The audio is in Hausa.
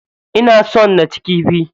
Ina son naci kifi.